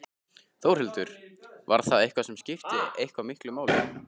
Þórhildur: Var það eitthvað sem skipti eitthvað miklu máli?